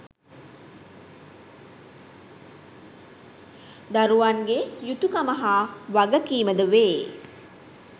දරුවන් ගේ යුතුකම හා වගකීමද වේ.